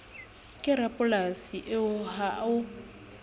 ke rapolasi eo ha o